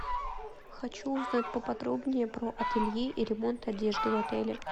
хочу узнать поподробнее про ателье и ремонт одежды в отеле